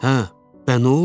Hə, bə nə olub?